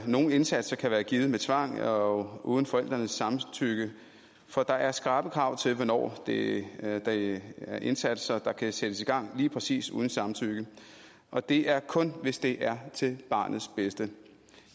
nogle indsatser kan være givet med tvang og uden forældrenes samtykke for der er skrappe krav til hvornår det er det er indsatser der kan sættes i gang lige præcis uden samtykke og det er kun hvis det er til barnets bedste